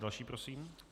Další prosím.